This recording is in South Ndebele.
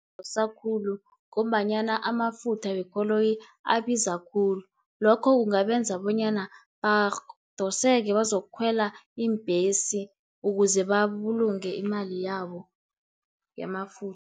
dosa khulu ngombanyana amafutha wekoloyi abiza khulu, lokho kungabenza bonyana badoseke bazokukhwela iimbhesi, ukuze babulunge imali yabo yamafutha.